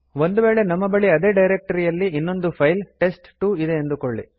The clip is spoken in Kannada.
ಒಂದು ವೇಳೆ ನಮ್ಮ ಬಳಿ ಅದೇ ಡೈರೆಕ್ಟ್ ರಿಯಲ್ಲಿ ಇನ್ನೊಂದು ಫೈಲ್ ಟೆಸ್ಟ್2 ಇದೆ ಅಂದುಕೊಳ್ಳಿ